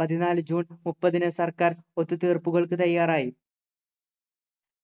പതിനാലു ജൂൺ മുപ്പതിന് സർക്കാർ ഒത്തു തീർപ്പുകൾക്ക് തയ്യാറായി